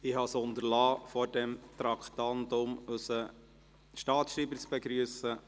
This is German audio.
Ich habe es unterlassen, vor der Beratung dieses Traktandums unseren Staatsschreiber zu begrüssen.